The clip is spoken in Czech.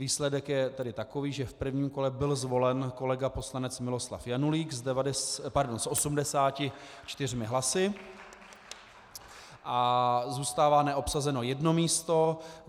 Výsledek je tedy takový, že v prvním kole byl zvolen kolega poslanec Miloslav Janulík s 84 hlasy a zůstává neobsazeno jedno místo.